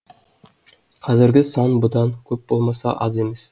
қазіргі сан бұдан көп болмаса аз емес